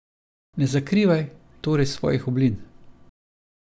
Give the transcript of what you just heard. Ne zakrivaj torej svojih oblin.